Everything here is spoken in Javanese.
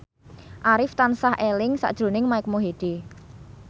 Arif tansah eling sakjroning Mike Mohede